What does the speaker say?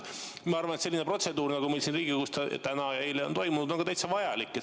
Ma arvan, et selline protseduur, nagu meil siin Riigikogus täna ja eile on toimunud, on täitsa vajalik.